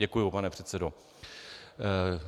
Děkuju, pane předsedo.